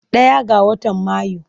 Ɗaya ga watan Mayu.